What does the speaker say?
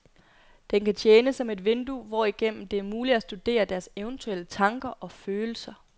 Den kan tjene som et vindue, hvorigennem det er muligt at studere deres eventuelle tanker og følelser.